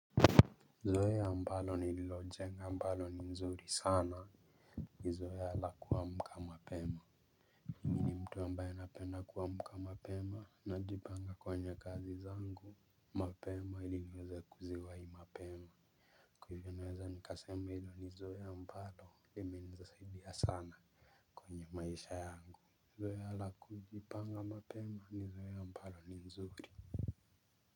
Zoea ambalo nililojenga ambalo ni nzuri sana ni zoea la kuamka mapema ambaye napenda kuamka mapema najipanga kwenye kazi zangu mapema ili niweze kuziwai mapema kwa hivyo naweza nikasema hilo ni zoea ambalo limenisaidia sana kwenye maisha yangu zoea la kujipanga mapema ni zoea ambalo ni nzuri.